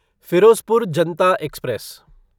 Firozpur Janata express